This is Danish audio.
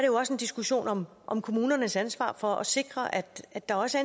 jo også en diskussion om om kommunernes ansvar for at sikre at at der også